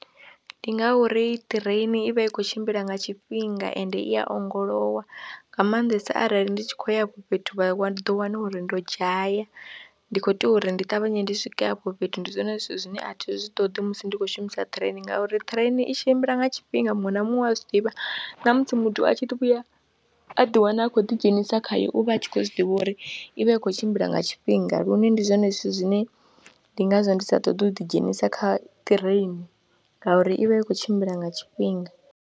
Ndi ngauri ṱireini i vha i khou tshimbila nga tshifhinga ende i ya ongolowa nga maanḓesa arali ndi tshi khou ya afho fhethu wa ḓo wana uri ndo dzhaya, ndi khou tea uri ndi ṱavhanye ndi swike afho fhethu ndi zwone zwithu zwine a thi zwi ṱoḓi musi ndi khou shumisa ṱireini ngauri ṱireini i tshimbila nga tshifhinga muṅwe na muṅwe a zwi ḓivha na musi muthu a tshi vhuya a ḓiwana a khou ḓidzhenisa khayo u vha a tshi khou zwi ḓivha uri i vha i khou tshimbila nga tshifhinga lune ndi zwone zwithu zwine ndi ngazwo ndi sa ṱoḓi u ḓidzhenisa kha ṱireini ngauri i vha i khou tshimbila nga tshifhinga.